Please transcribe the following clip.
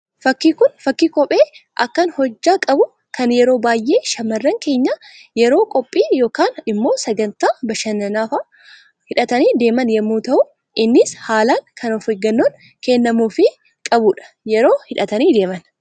Fakkiin Kun, fakkii kophee akkaan hojjaa qabu, kan yeroo baayyee shamarran keenya yeroo qophii yookaan immoo sagantaa bashannanaa fa'aa hidhatanii deeman yemmuu ta'u, innis haalaan kan of eeggannoon kennamuufii qabudha yeroo hidhatanii deeman.